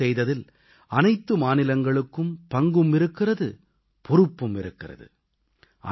யை அமல் செய்ததில் அனைத்து மாநிலங்களுக்கும் பங்கும் இருக்கிறது பொறுப்பும் இருக்கிறது